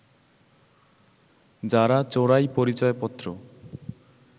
যারা চোরাই পরিচয়পত্র